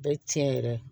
Bɛɛ tiɲɛ yɛrɛ